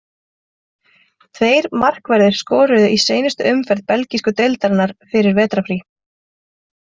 Tveir markverðir skoruðu í seinustu umferð belgísku deildarinnar fyrir vetrarfrí.